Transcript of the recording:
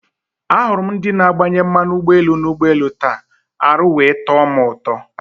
Ahụrụ m ndị na agbanye mmanụ ụgbọelu na ụgbọelu taa, arụ wee tọ mụ ụtọ